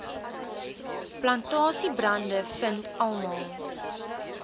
plantasiebrande vind almal